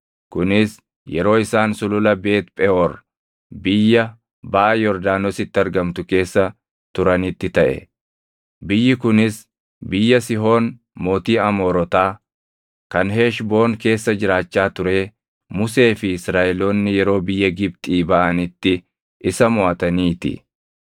kunis yeroo isaan Sulula Beet Pheʼoor biyya baʼa Yordaanositti argamtu keessa turanitti taʼe; biyyi kunis biyya Sihoon mootii Amoorotaa kan Heshboon keessa jiraachaa turee Musee fi Israaʼeloonni yeroo biyya Gibxii baʼanitti isa moʼatanii ti.